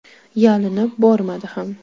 Yalinib bormadi ham.